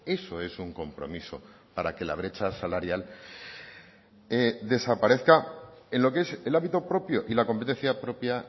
eso es un compromiso para que la brecha salarial desaparezca en lo que es el ámbito propio y la competencia propia